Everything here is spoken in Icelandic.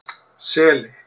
Seli